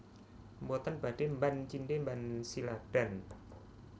Mboten badhe mban cindhe mban ciladan